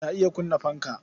Ta iya kunna fanka.